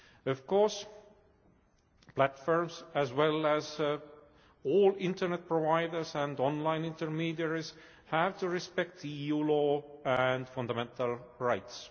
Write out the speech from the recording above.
Of course, platforms as well as all internet providers and online intermediaries have to respect EU law and fundamental rights.